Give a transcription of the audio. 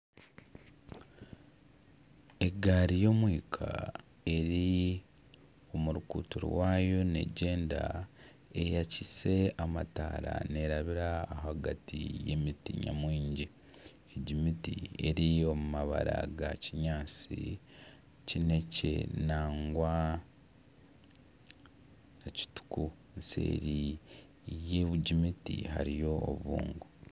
Egaari y'omwika eri omu ruguuto rwayo nigyenda, eyaakiise amataara neerabira ahagati y'emiti nyamwingi, egi miti eri omu mabara ga kinyaatsi kineekye nangwa na kituku seeri y'egi miti hariyo obubungo